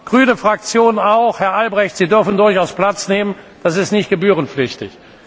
Grüne Fraktion auch, Herr Albrecht, Sie dürfen durchaus Platz nehmen, das ist nicht gebührenpflichtig.